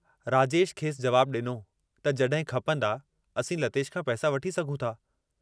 राजेश खेसि जवाबु डिनो त जहिं खपंदा, असीं लतेश खां पैसा वठी सघूं था।